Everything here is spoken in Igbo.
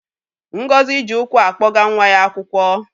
Ngozi ji ụkwụ akpọga nwa ya akwụkwọ.